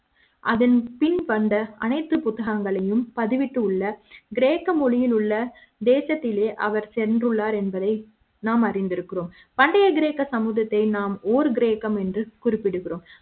அதன் பின் வந்த அனைத்து புத்தகங்களையும் பதிவிட்டுள்ள கிரேக்க மொழி யில் உள்ள தேசத்திலே அவர் சென்றுள்ளார் என்பதை நாம் அறிந்திருக்கிறோம் பண்டைய கிரேக்க சமூக த்தை நாம்ஓர்கிரேக்கம் என்று குறிப்பிடுகிறோம்